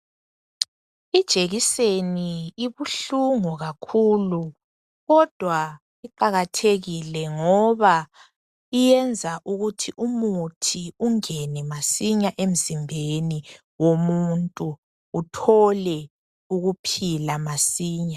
Ijekiseni ibuhlungu kakhulu kodwa iqakathekile ngoba iyenza ukuthi umuthi ungene masinya emzimbeni womuntu, uthole ukuphila masinya.